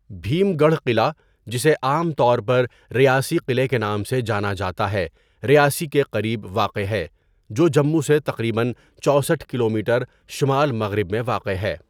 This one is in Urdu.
بھیم گڑھ قلعہ، جسے عام طور پر ریاسی قلعہ کے نام سے جانا جاتا ہے، ریاسی کے قریب واقع ہے، جو جموں سے تقریباً چوسٹھ کلومیٹر شمال مغرب میں واقع ہے۔